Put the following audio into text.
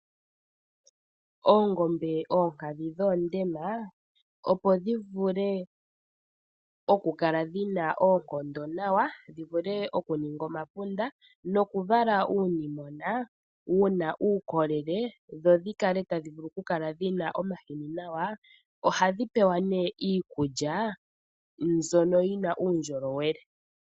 Oongombe oonkadhi dhoondema opo dhi vule okukala dhi na oonkondo nawa, dhi vule okuninga omapunda nokuvala uunimona wu na uukolele dho dhi kale tadhi vulu kukala dhi na omahini nawa, ohadhi pewa nee iikulya mbyono yi na uundjolowele.